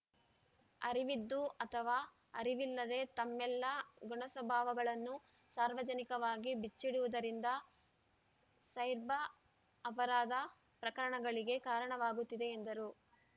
ಅರಿವಿದ್ದು ಅಥವಾ ಅರಿವಿಲ್ಲದೇ ತಮ್ಮೆಲ್ಲ ಗುಣಸ್ವಭಾವಗಳನ್ನು ಸಾರ್ವಜನಿಕವಾಗಿ ಬಿಚ್ಚಿಡುವುದರಿಂದ ಸೈಬ ರ್‌ ಅಪ ರಾಧ ಪ್ರಕರಣಗಳಿಗೆ ಕಾರಣವಾಗುತ್ತಿದೆ ಎಂದರು